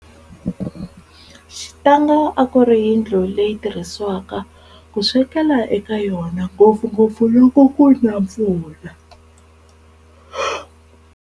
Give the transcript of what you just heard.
Xitanga a ku ri yindlu leyi tirhisiwaka ku swekela eka yona, ngopfungopfu loko kuna mpfula.